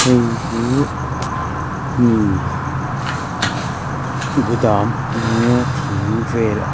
heihi mi ah gudam a nia thing vel--